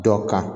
Dɔ kan